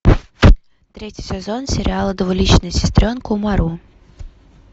третий сезон сериала двуличная сестренка умару